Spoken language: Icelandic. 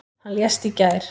Hann lést í gær.